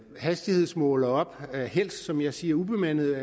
hastighedsmålere op helst som jeg siger ubemandede